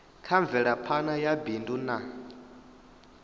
kha mvelaphana ya bindu na